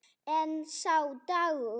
En sá dagur!